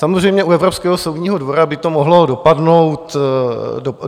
Samozřejmě u Evropského soudního dvora by to mohlo dopadnout i jinak.